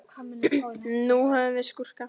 Nú höfum við skúrka.